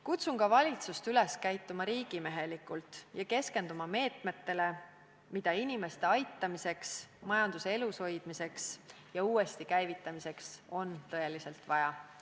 Kutsun ka valitsust üles käituma riigimehelikult ja keskenduma nendele meetmetele, mida inimeste aitamiseks, majanduse elus hoidmiseks ja uuesti käivitamiseks on tõeliselt vaja.